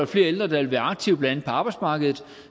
flere ældre der vil være aktive blandt andet på arbejdsmarkedet